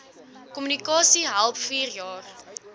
kommunikasie help vierjaar